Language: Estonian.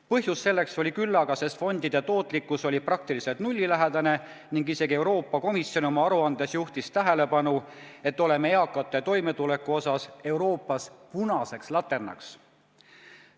Põhjust selleks oli küllaga, sest fondide tootlikkus oli nullilähedane ning isegi Euroopa Komisjon oma aruandes juhtis tähelepanu sellele, et oleme eakate toimetuleku poolest Euroopas punaseks laternaks.